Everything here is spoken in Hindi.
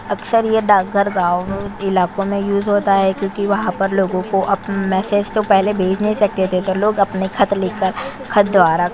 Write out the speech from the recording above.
अक्सर यह डाकघर गाँव इलाकों में यूज होता है क्योंकि वहाँ पर लोगों को अपने मैसेज तो पहले भेज नहीं सकते थे तो लोग अपने खत लिखकर खत द्वारा --